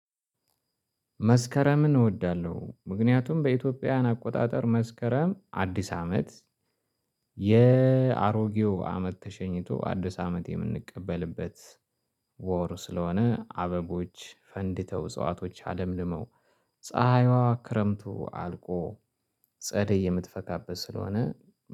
መስከረምን እወዳለሁ ምክንያቱም በኢትዮጵያውያን አቆጣጠር መስከረም አዲስ አመት የአሮጌው አመት ተሸኝቶ አዲስ አመት የምንቀበልበት ወር ስለሆነ አበቦች ፈንድተው እጽዋቶች አለምልመው። ፀሀይዋ ክረምቱ አልቆ ጸደይ የምትፈካበት ስለሆነ።